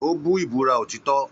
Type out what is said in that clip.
Ó bú ìbúra òtítọ́.